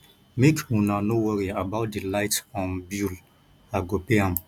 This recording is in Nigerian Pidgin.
make una no worry about the light um bill i go pay am